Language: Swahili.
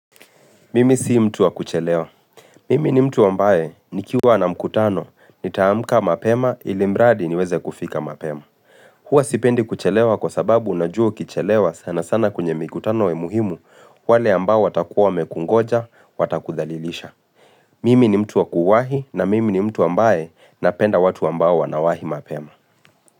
Mimi si mtu wa kuchelewa. Mimi ni mtu wa ambaye nikiwa na mkutano nitaamka mapema ili mradi niweze kufika mapema. Huwa sipendi kuchelewa kwa sababu unajua ukichelewa sana sana kwenye mikutano ya muhimu wale ambao watakuwa wamekungoja watakuthalilisha. Mimi ni mtu wa kuwahi na mimi ni mtu ambaye napenda watu ambao wanawahi mapema.